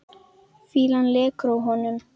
Fýlan lekur af honum.